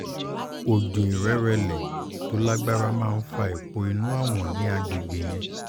oòjò ìrẹrẹ̀lẹ̀ tó lágbára máa ń fa èèpo inú awọ̀n ní àgbègbè yẹn